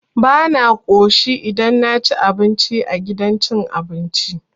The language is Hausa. Bana ƙoshi idan naci abinci a gidan cin abinci.